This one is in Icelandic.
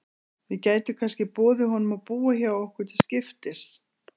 Við gætum kannski boðið honum að búa hjá okkur til skiptis.